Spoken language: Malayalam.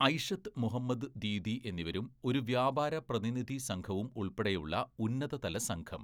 ഐഷത്ത് മുഹമ്മദ് ദീദി എന്നിവരും ഒരു വ്യാപാര പ്രതിനിധി സംഘവും ഉള്‍പ്പെടെയുള്ള ഉന്നതതലസംഘം.